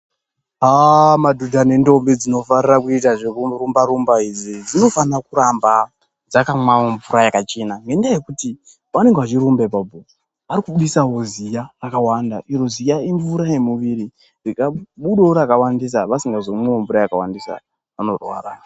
Aaa madhodha nendombi dzinofarira kuita zvekurumba rumba idzi dzinofana kuramba dzakamwawo mvura yakachena ngenyaya yekuti pavanenge vachirumba ipapo ari kubudisawo zoya akawanda iro ziya imvura yemuwiri rikabudawo rakawandisa asikamwi mvura yakawandisa anorwara.